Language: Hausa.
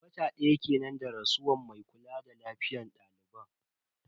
Wata daya kenan da rasuwar mai kula da lafiyar daliban.